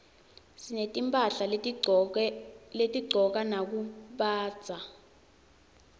sinetimphahla lesitigcoka nakubandza